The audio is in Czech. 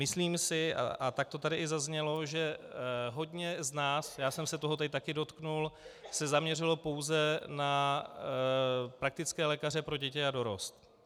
Myslím si, a tak to tady i zaznělo, že hodně z nás, já jsem se toho tady taky dotkl, se zaměřilo pouze na praktické lékaře pro děti a dorost.